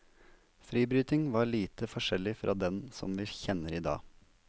Fribryting var lite forskjellig fra den som vi kjenner i dag.